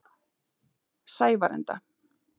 Sævarenda